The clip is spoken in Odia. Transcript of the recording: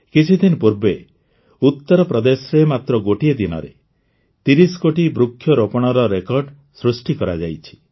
କିଛିଦିନ ପୂର୍ବେ ଉତରପ୍ରଦେଶରେ ମାତ୍ର ଗୋଟିଏ ଦିନରେ ୩୦ କୋଟି ବୃକ୍ଷରୋପଣର ରେକର୍ଡ଼ ସୃଷ୍ଟି କରାଯାଇଛି